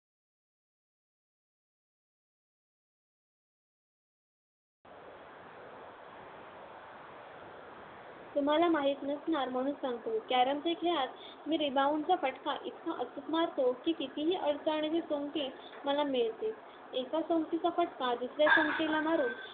तुम्हाला माहीत नसणार म्हणून सांगतो. कॅरमच्या खेळात मी rebound चा फटका इतका अचूक मारतो की कितीही अडचणीतील सोंगटी मला मिळतेच. एका सोंगटीचा फटका दुसऱ्या सोंगटीला मारून